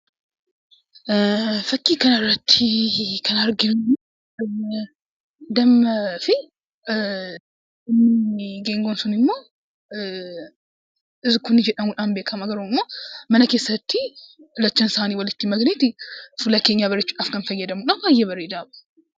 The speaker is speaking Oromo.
Fakkii kana irratti kan arginu dammaafi inni geengoon sun ammoo "zikkunnii" jedhamuun beekama. Mana keessatti lachuu isaanii walitti maknee fuula keenya bareechuudhaaf kan itti fayyadamnudha. Baay'ee bareedaadha.